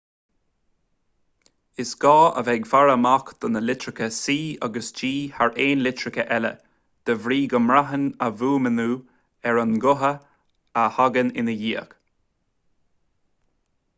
is gá bheith ag faire amach do na litreacha c agus g thar aon litreacha eile de bhrí go mbraitheann a bhfuaimniú ar an nguta a thagann ina ndiaidh